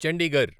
Chandigarh